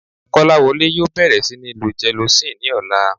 Kọ́láwọlé yóò bẹ̀rẹ̀ sí níí lo gelocin ní ọ̀la